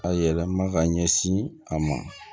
A yɛlɛma ka ɲɛsin a ma